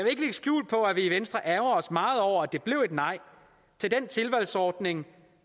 skjul på at vi i venstre ærgrer os meget over at det blev et nej til den tilvalgsordning